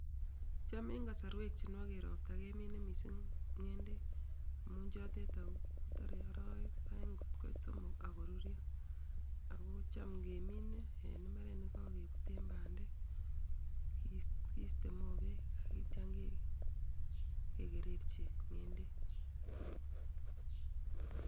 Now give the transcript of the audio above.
cham en kosorwek chenwogen ropta kemine misink ngendeek amun chotet ,ago toree orowek oeng kot koit somok ok korurio ago cham kemine en imbaret negogebuten bandeek kiste mobeek ak itiong kekerechi ngendek